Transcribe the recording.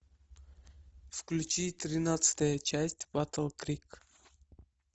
включи тринадцатая часть батл крик